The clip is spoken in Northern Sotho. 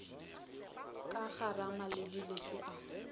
ka garama le dilete a